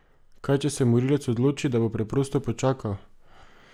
Kaj, če se morilec odloči, da bo preprosto počakal?